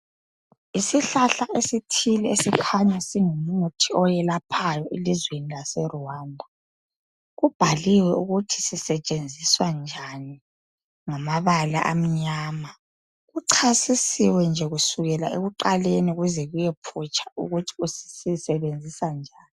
Yisihlahla esithile esikhanya ingumuthi oyelaphayo elizweni lase Rwanda kubhaliwe ukuthi sisetshenziswa njani ngamabala amnyama kuchasisiwe nje kusukela ekuqaleni kuze kuye phutsha ukuthi sisetshenziswa njani.